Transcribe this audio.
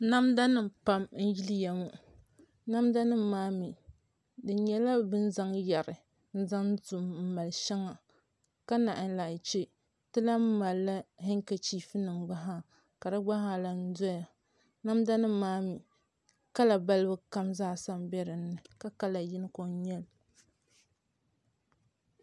namda nima pam n-yiliya ŋɔ namdanima maa mi di nyɛla bɛ ni zaŋ yari n-zaŋ to n-mali shɛŋa ka naanyi che ti lahi mali hankachiifu gba zaa ka di gba zaa lahi doya namdnima maa mi kala balibu kam zaasa m-be dini ka kala yini ko n-nyɛ li